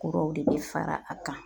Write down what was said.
Kuraw de bɛ fara a kan